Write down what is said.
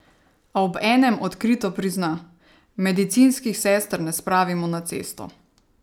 A obenem odkrito prizna: "Medicinskih sester ne spravimo na cesto.